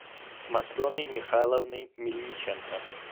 матреной михайловной мельниченко